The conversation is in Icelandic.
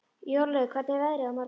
Jórlaug, hvernig er veðrið á morgun?